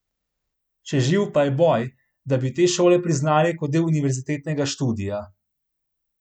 Še živ pa je boj, da bi te šole priznali kot del univerzitetnega študija.